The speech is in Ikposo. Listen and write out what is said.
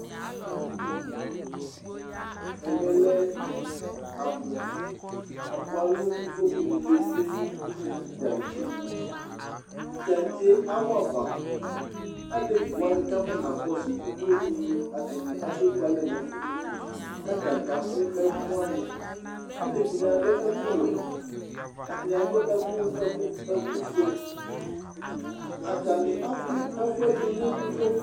ɛmɛ lɛ apu, apuɛ alu uvloku ni nɛ tsʋe nu itantse, itantse awɔ'afa , alevi wʋani k'atani afɔ na kɔsu uvloku ni abe ku'alɛ n'ɛfɛ k'ata ni kaku ɛfu wʋani, alevi wʋani adu ɛku wɛ , ata ni adu ɛku ɛku ɛku fue, ata ni aku ɛfuɛ du nu uvloku